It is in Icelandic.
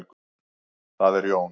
Það er Jón.